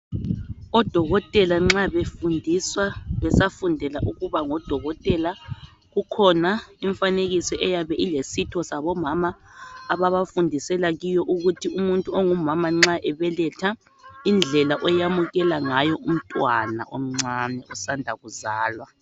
Odokotela nxa befundiswa besafundela ukuba ngodokotela kukhona imfanekiso eyabe ilesitho sabomama ababafundisela kiyo ukuthi umuntu ongumama nxa ebeletha indlela oyamukela ngayo umntwana omncane osanda kuzalwa.